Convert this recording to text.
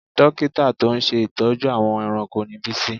Dókítà tó ń ṣe ìtọ́jú àwọn ẹranko ni Bísí